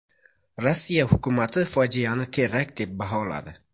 Rossiya hukumati fojiani terakt deb baholadi.